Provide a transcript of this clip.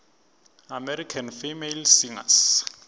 american female singers